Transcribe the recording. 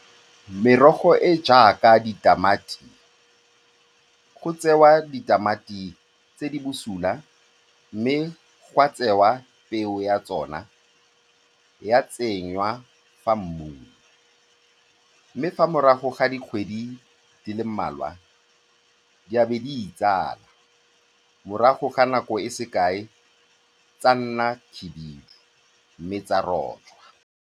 Merogo e e jaaka ditamati, go tsewa ditamati tse di bosula mme gwa tsewa peo ya tsona ya tsenngwa mo mmung, mme fa morago ga dikgwedi di le mmalwa, ebe di itsala. Morago ga nako e sekae, tsa nna khibidu mme tsa rojwa.